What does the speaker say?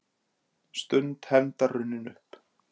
Stund hefndar runnin upp